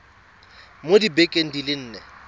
mo dibekeng di le nne